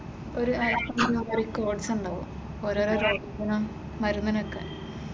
ഒരു റിക്കോർഡ്‌സ് ഉണ്ടാക്കും ഓരോ ഓരോ മരുന്നിനൊക്കെ